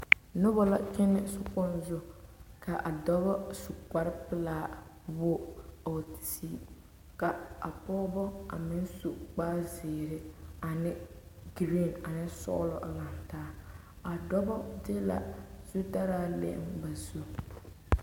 Noba la kyɛne sokpoŋ zu ka dɔɔba su kpare pelaa wogi a wa sige ka a pɔgebo a meŋ su kpare ziiri ane geri ane sɔglɔ a lantaa dɔɔba de la zutalaa.